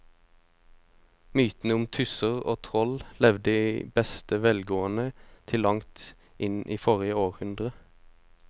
Mytene om tusser og troll levde i beste velgående til langt inn i forrige århundre.